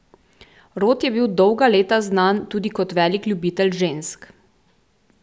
Rod je bil dolga leta znan tudi kot velik ljubitelj žensk.